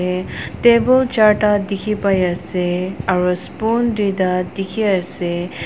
table charda dike pai ase aro spoon tuida dike ase.